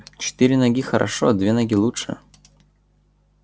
четыре ноги хорошо две ноги лучше